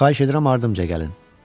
Xahiş edirəm ardımca gəlin.